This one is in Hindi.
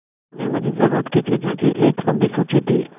उन्होंने मुझे ज़रूरत की चीज़ों की एक लम्बी सूची दी